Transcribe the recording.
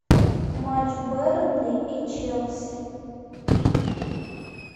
матч бернли и челси